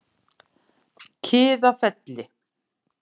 Kiðafelli